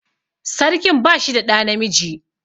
Sarkin ba shi da ɗa namiji